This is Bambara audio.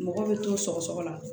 Mɔgɔ bɛ to sɔgɔma